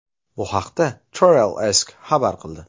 Bu haqda TravelAsk xabar qildi.